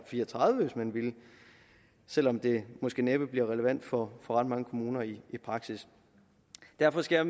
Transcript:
fire og tredive hvis man ville selv om det måske næppe bliver relevant for ret mange kommuner i praksis derfor skal